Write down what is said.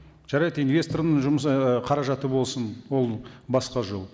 жарайды инвестордың жұмысы ы қаражаты болсын ол басқа жол